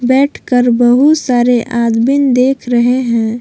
बैठकर बहुत सारे आदमीन देख रहे हैं।